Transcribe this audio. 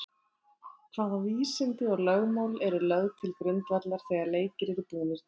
Hvaða vísindi og lögmál eru lögð til grundvallar þegar leikir eru búnir til?